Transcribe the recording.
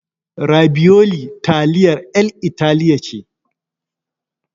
Rabiyoli taliyar 'yan Italiya ce.